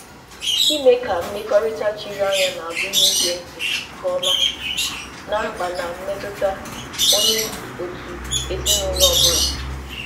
Idozi mmekọrịta chiri anya gụnyere ige ntị nke ọma ná mkpa na mmetụta nke onye ọ bụla n'ezinụlọ.